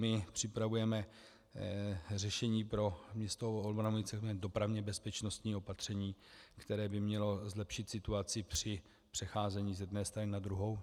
My připravujeme řešení pro město Olbramovice, dopravně bezpečnostní opatření, které by mělo zlepšit situaci při přecházení z jedné strany na druhou.